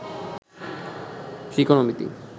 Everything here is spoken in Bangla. ত্রিকোণমিতি